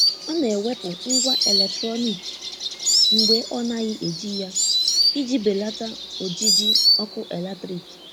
Ọ na-ewepụ ngwá eletrọnịkị mgbe ọ naghị eji ya iji belata ojiji ọkụ eletrik.